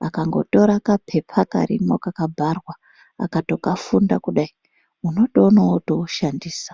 Vakangotora kapepa karimwo kakabharwa akatokafunda kudai unotoona votoushandisa.